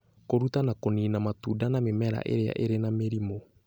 Kũruta na kũniina matunda na mĩmera ĩrĩa ĩrĩ na mĩrimũ